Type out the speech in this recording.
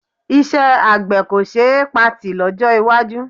Iṣẹ́ àgbẹ̀ kò ṣe é patì lọ́jọ́ iwájú